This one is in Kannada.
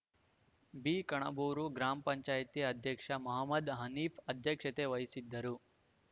ಬಿಕಣಬೂರು ಗ್ರಾಮ ಪಂಚಾಯಿತಿ ಅಧ್ಯಕ್ಷ ಮಹಮ್ಮದ್‌ ಹನೀಫ್‌ ಅಧ್ಯಕ್ಷತೆ ವಹಿಸಿದ್ದರು